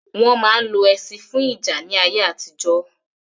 Wọn ma ń lo ẹṣin fún ìjà ní ayé àtijọ́